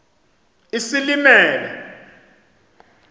isilimela